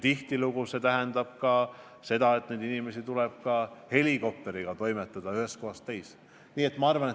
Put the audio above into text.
Tihtilugu see tähendab seda, et inimesed tuleb ka helikopteriga toimetada ühest kohast teise.